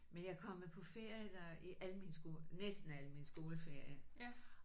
Men jeg er kommet på ferie der i alle mine næsten alle mine skoleferier